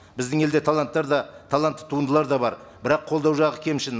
біздің елде таланттар да талантты туындылар да бар бірақ қолдау жағы кемшін